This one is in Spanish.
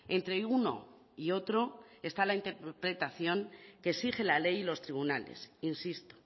entre uno y otro está la interpretación que exige la ley y los tribunales insisto